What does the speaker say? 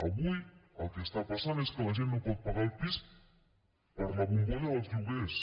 avui el que està passant és que la gent no pot pagar el pis per la bombolla dels lloguers